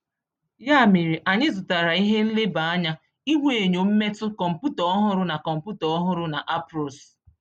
Ya mere, anyị zụtara ihe nleba anya ihuenyo mmetụ, kọmputa ọhụrụ na kọmputa ọhụrụ na ARPOS.